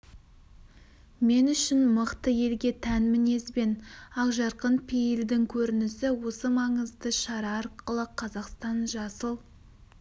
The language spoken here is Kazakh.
мен үшін мықты елге тән мінез бен ақжарқын пейілдің көрінісі осы маңызды шара арқылы қазақстан жасыл